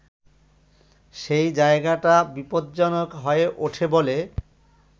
সেই জায়গাটা বিপজ্জনক হয়ে ওঠে বলে